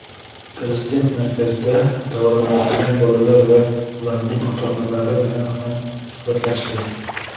Prezident markazda davolanayotgan bolalar va ularning ota-onalari bilan ham suhbatlashdi.